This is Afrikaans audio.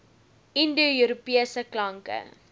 indo europese klanke